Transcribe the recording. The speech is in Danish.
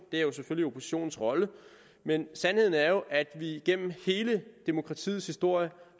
det er selvfølgelig oppositionens rolle men sandheden er jo at vi igennem hele demokratiets historie